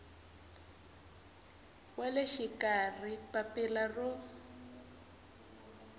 wa le xikarhi papila ro